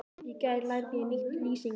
Í gær lærði ég nýtt lýsingarorð.